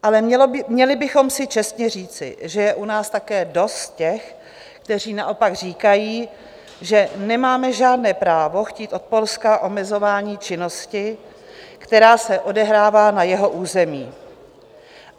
Ale měli bychom si čestně říci, že je u nás také dost těch, kteří naopak říkají, že nemáme žádné právo chtít od Polska omezování činnosti, která se odehrává na jeho území.